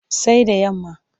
Sai da yamma.